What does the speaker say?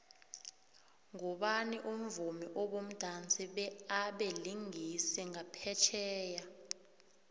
ngubani umvumi obumdansi be abelingisi ngaphetjheya